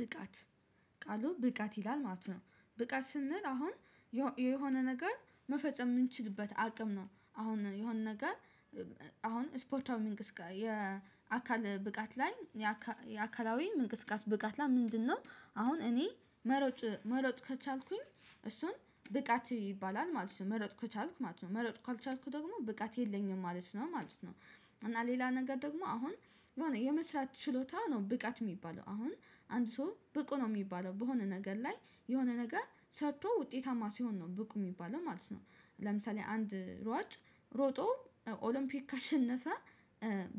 ብቃት ቃሉ ብቃት ይላል ማለት ነው። ብቃት ስንል አሁን የሆነ ነገር መፈጸም የምንችልበት አቅም ነው። አሁን የሆነ ነገር። አሁን ስፖርታዊ እንቅስቃሴ የአካል ብቃት ላይ የአካላዊ መንቀሳቀስ ብቃት ላይ ምንድነው? አሁን እኔ መሮጥ ከቻልኩኝ እሱን ብቃት ይባላል ማለት ነው መሮጥ ከቻልኩ ማለት ነው መሮጥ ካልቻልኩ ደግሞ ብቃት የለኝም ማለት ነው ማለት ነው። እና ሌላ ነገር ደግሞ አሁን የሆነ የመስራት ችሎታው ነው ብቃት የሚባለው። አሁን አንድ ሰው ብቁ ነው የሚባለው በሆነ ነገር ላይ የሆነ ነገር ሰርቶ ውጤታማ ሲሆን ነው ብቁ የሚባለው ማለት ነው። ለምሳሌ አንድ ሯጭ ሮጦ ኦሎምፒክ ካሸነፈ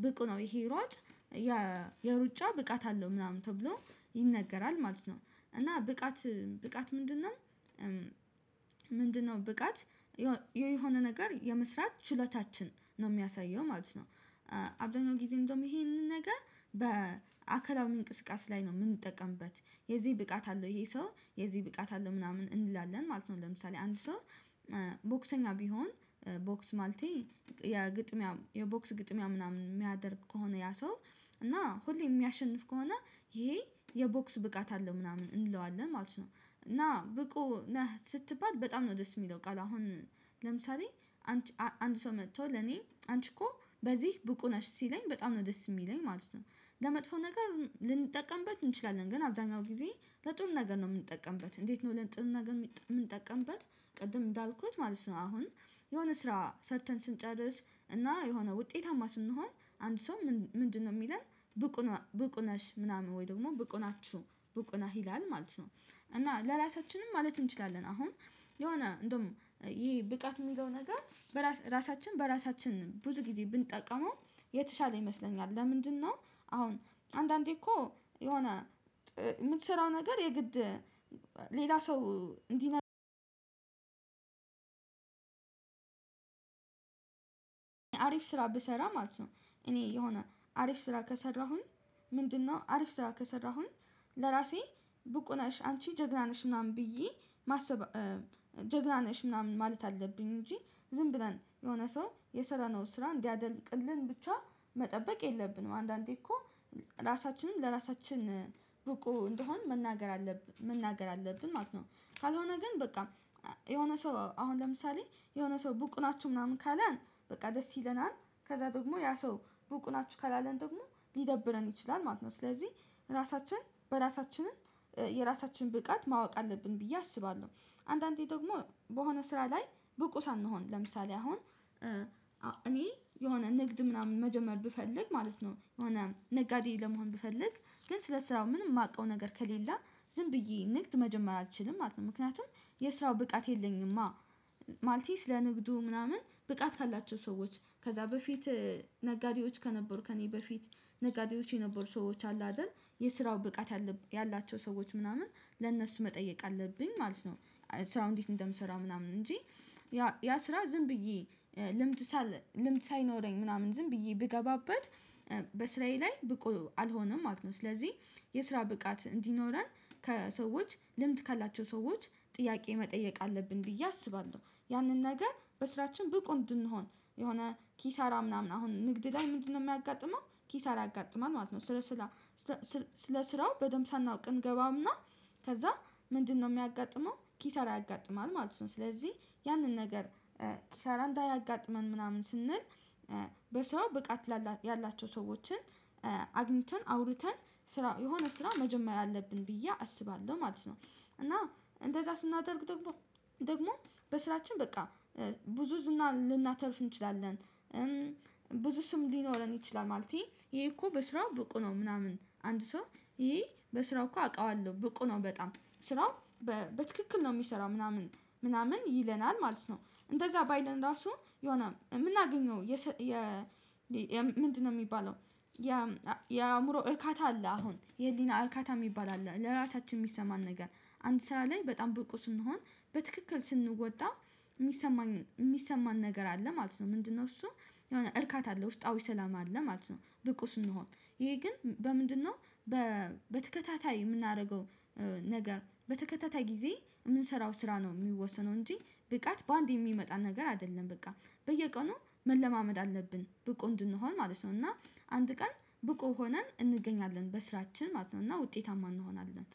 ብቁ ነው ይሄ ሯጭ የሩጫ ብቃት አለው ምናምን ተብሎ ይነገራል ማለት ነው። እና ብቃት ብቃት ምንድነው? ምንድነው ብቃት የሆነ ነገር የመስራት ችሎታችን ነው የሚያሳየው ማለት ነው። አብዛኛው ጊዜ እንደውም ይሄንን ነገር በአካላዊ መንቀሳቀስ ላይ ነው የምንጠቀምበት። የዚህ ብቃት አለው ይሄ ሰው የዚህ ብቃት አለው ምናምን እንላለን ማለት ነው። ለምሳሌ አንድ ሰው ቦክሰኛ ቢሆን ቦክስ ማለት የግጥሚያ የቦክስ ግጥሚያ ምናምን የሚያደርግ ከሆነ ያ ሰው እና ሁሌ የሚያሸንፍ ከሆነ ይሄ የቦክስ ብቃት አለው ምናምን እንለዋለን ማለት ነው። እና ብቁ ነህ ስትባል በጣም ነው ደስ የሚለው ቃል አሁን ለምሳሌ አንድ ሰው መጥቶ ለኔ አንቺ እኮ በዚህ ብቁ ነሽ ሲለኝ በጣም ነው ደስ የሚለኝ ማለት ነው። ለመጥፎ ነገር ልንጠቀምበት እንችላለን ግን አብዛኛው ጊዜ ለጥሩ ነገር ነው የምንጠቀምበት። እንዴት ነው ለጥሩ ነገር የምንጠቀምበት? ቅድም እንዳልኩት ማለት ነው አሁን የሆነ ስራ ሰርተን ስንጨርስ እና የሆነ ውጤታማ ስንሆን አንድ ሰው ምንድነው የሚለን ብቁ ነሽ ምናምን ወይ ደግሞ ብቁ ናችሁ ብቁ ነህ ይላል ማለት ነው። እና ለራሳችንም ማለት እንችላለን አሁን የሆነ እንደውም ይሄ ብቃት የሚለው ነገር እራሳችን በራሳችን ብዙ ጊዜ ብንጠቀመው የተሻለ ይመስለኛል። ለምንድነው? አሁን አንዳንዴ እኮ የሆነ የምትሰራው ነገር የግድ ሌላ ሰው እንዲነግረን አሪፍ ስራ ብሰራ ማለት ነው። እኔ የሆነ አሪፍ ስራ ከሰራሁኝ ምንድነው አሪፍ ስራ ከሰራሁኝ ለራሴ ብቁ ነሽ አንቺ ጀግና ነሽ ምናምን ብዬ ማሰብ ጀግና ነሽ ምናምን ማለት አለብኝ። እንጂ ዝም ብለን የሆነ ሰው የሰራ ነው ስራ እንዲያደንቅልን ብቻ መጠበቅ የለብንም። አንዳንዴ እኮ ራሳችንን ለራሳችን ብቁ እንደሆን መናገር አለብን ማለት ነው። ካልሆነ ግን በቃ የሆነ ሰው አሁን ለምሳሌ የሆነ ሰው ብቁ ናችሁ ምናምን ካለን በቃ ደስ ይለናል ከዛ ደግሞ ያ ሰው ብቁ ናችሁ ካላለን ደግሞ ሊደብረን ይችላል ማለት ነው። ስለዚህ ራሳችን በራሳችንም የራሳችን ብቃት ማወቅ አለብን ብዬ አስባለሁ። አንዳንዴ ደግሞ በሆነ ስራ ላይ ብቁ ሳንሆን ለምሳሌ አሁን እኔ የሆነ ንግድ ምናምን መጀመር ብፈልግ ማለት ነው የሆነ ነጋዴ ለመሆን ብፈልግ ግን ስለ ስራው ምንም የማውቀው ነገር ከሌለ ዝም ብዬ ንግድ መጀመር አልችልም ማለት ነው። ምክንያቱም የስራው ብቃት የለኝማ። ማለቴ ስለንግዱ ምናምን ብቃት ካላቸው ሰዎች ከዛ በፊት ነጋዴዎች ከነበሩ ከእኔ በፊት ነጋዴዎች የነበሩ ሰዎች አሉ አይደል? የስራው ብቃት ያላቸው ሰዎች ምናምን ለእነሱ መጠየቅ አለብኝ ማለት ነው። ስራው እንዴት እንደምሰራው ምናምን እንጂ ያ ስራ ዝም ብዬ ልምድ ሳል ልምድ ሳይኖረኝ ምናምን ዝም ብዬ ብገባበት በስራዬ ላይ ብቁ አልሆነም ማለት ነው። ስለዚህ የስራ ብቃት እንዲኖረን ከሰዎች ልምድ ካላቸው ሰዎች ጥያቄ መጠየቅ አለብን ብዬ አስባለሁ። ያንን ነገር በስራችን ብቁ እንድንሆን የሆነ ኪሳራ ምናምን አሁን ንግድ ላይ ምንድነው የሚያጋጥመው ኪሳራ ያጋጥማል ማለት ነው። ስለ ስለ ስራው በደንብ ሳናውቅ እንገባምና። ከዛ ምንድነው የሚያጋጥመው ኪሳራ ያጋጥማል ማለት ነው። ስለዚህ ያንን ነገር ኪሳራ እንዳያጋጥመን ምናምን ስንል በሰው ብቃት ያላቸው ሰዎችን አግኝተን አውርተን ስራ የሆነ ስራ መጀመር አለብን ብዬ አስባለሁ ማለት ነው። እና እንደዛ ስናደርግ ደግሞ ደግሞ በስራችን በቃ ብዙ ዝና ልናተርፍ እንችላለን። ብዙ ስም ሊኖረን ይችላል ማለቴ ይሄ እኮ በስራው ብቁ ነው ምናምን አንድ ሰው ይሄ በስራው እኮ አውቃለሁ ብቁ ነው በጣም ስራው በትክክል ነው የሚሰራው ምናምን ምናምን ይለናል ማለት ነው። እንደዛ ባይለን ራሱ የሆነ የምናገኘው የ ምንድነው የሚባለው? የአእምሮ እርካታ አለ አሁን የህሊና እርካታ የሚባል አለ ለራሳችን የሚሰማን ነገር አንድ ስራ ላይ በጣም ብቁ ስንሆን በትክክል ስንወጣ የሚሰማን የሚሰማን ነገር አለ ማለት ነው። ምንድነው እሱ? የሆነ እርካታ አለ ውስጣዊ ሰላም አለ ማለት ነው። ብቁ ስንሆን ይሄ ግን በምንድነው? በተከታታይ የምናደርገው ነገር በተከታታይ ጊዜ የምንሰራው ስራ ነው የሚወሰነው እንጂ ብቃት በአንድ የሚመጣ ነገር አይደለም። በቃ በየቀኑ መለማመድ አለብን ብቁ እንድንሆን ማለት ነው። እና አንድ ቀን ብቁ ሆነን እንገኛለን በስራችን ማለት ነው። እና ውጤታማ እንሆናለን